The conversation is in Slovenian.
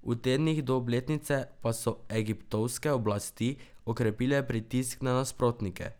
V tednih do obletnice pa so egiptovske oblasti okrepile pritisk na nasprotnike.